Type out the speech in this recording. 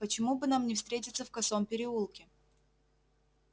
почему бы нам не встретиться в косом переулке